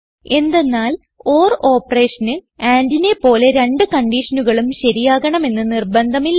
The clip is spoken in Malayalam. എന്തെന്നാൽ ഓർ ഓപ്പറേഷന് andനെ പോലെ രണ്ട് കൺഡിഷനുകളും ശരിയാകണമെന്ന് നിർബന്ധമില്ല